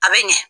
A bɛ ɲɛ